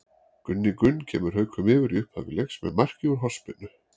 Gunni Gunn kemur Haukum yfir í upphafi leiks með marki úr hornspyrnu.